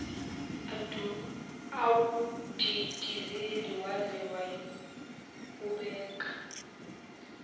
awudidizelisa waze wayowubeka